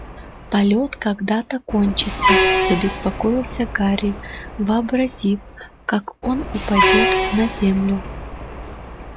полет когда-то кончится забеспокоился гарри вообразив как он упадёт на землю